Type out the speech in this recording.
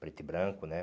preto e branco, né?